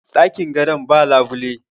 dakin gadon ba labule